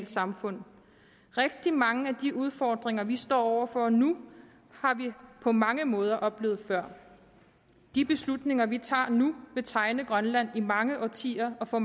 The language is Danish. samfund rigtig mange af de udfordringer vi står over for nu har vi på mange måder oplevet før de beslutninger vi tager nu vil tegne grønland i mange årtier og få